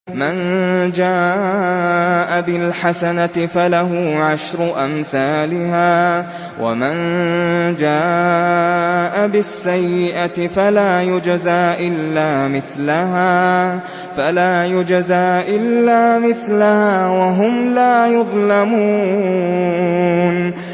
مَن جَاءَ بِالْحَسَنَةِ فَلَهُ عَشْرُ أَمْثَالِهَا ۖ وَمَن جَاءَ بِالسَّيِّئَةِ فَلَا يُجْزَىٰ إِلَّا مِثْلَهَا وَهُمْ لَا يُظْلَمُونَ